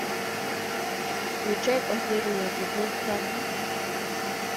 включай последний эпизод царство